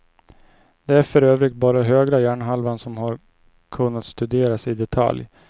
Det är för övrigt bara högra hjärnhalvan som har kunnats studeras i detalj.